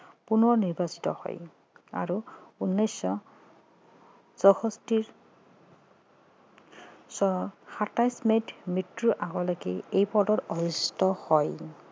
পুনৰ নিৰ্বাচিত হয় আৰু উনৈছশ চৌষষ্ঠি চনত সাতাইছ মেত মৃত্যুৰ আগৰলৈকে এই পদত অধিস্থিত হয়